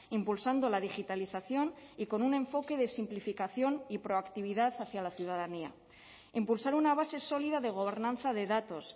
impulsando la digitalización y con un enfoque de simplificación y proactividad hacia la ciudadanía impulsar una base sólida de gobernanza de datos